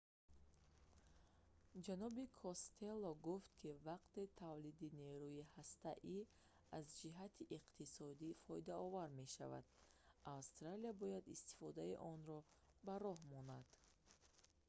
ҷаноби костелло гуфт ки вақте тавлиди нерӯи ҳастаӣ аз ҷиҳати иқтисодӣ фоидаовар мешавад австралия бояд истифодаи онро ба роҳ монад